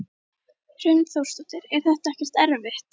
Hrund Þórsdóttir: Er þetta ekkert erfitt?